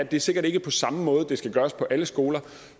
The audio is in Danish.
det er sikkert ikke på samme måde at det skal gøres på alle skoler